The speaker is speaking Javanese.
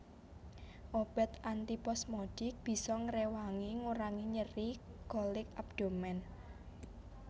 Obat antiposmodik bisa ngréwangi ngurangi nyeri kolik abdomen